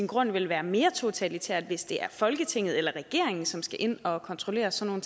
grunden ville være mere totalitært hvis det er folketinget eller regeringen som skal ind og kontrollere sådan